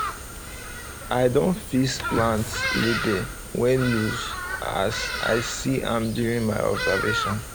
i don fix plants label wey loose as i see am during my observation